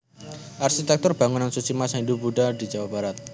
Arsitektur Bangunan Suci Masa Hindu Budha di Jawa Barat